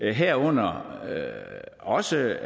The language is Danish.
det herunder også